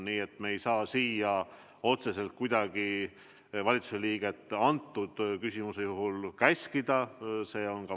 Nii et me ei saa otseselt kuidagi valitsuse liiget praegusel juhul käskida siia tulla.